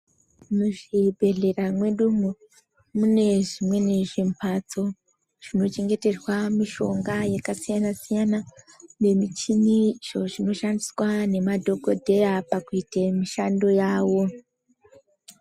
Mu zvibhehlera mwedumo mune zvimweni zvi mbatso zvino chengeterwa mishonga yaka siyana siyana ne michini izvo zvino shandiswa ne madhokodheya pakuite mishando yavo.